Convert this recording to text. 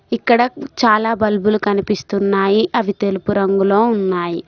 ఇక్కడ చాలా బల్బు లు కనిపిస్తున్నాయి అవి తెలుపు రంగులో ఉన్నాయి.